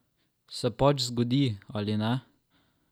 Se pač zgodi, ali ne?